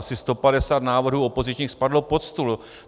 Asi 150 návrhů opozičních spadlo pod stůl.